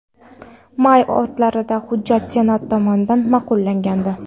May o‘rtalarida hujjat senat tomonidan ma’qullangandi.